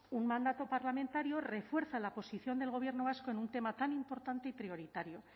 un mandato parlamentario refuerza la posición del gobierno vasco en un tema tan importante y prioritario